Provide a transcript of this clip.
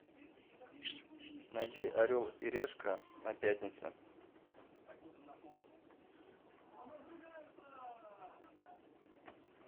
найди орел и решка на пятнице